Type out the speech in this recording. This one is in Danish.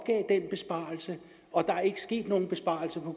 den besparelse og der er ikke sket nogen besparelse på